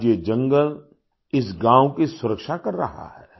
आज ये जंगल इस गाँव की सुरक्षा कर रहा है